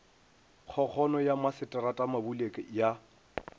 kgokgono ya masetrata mabule ya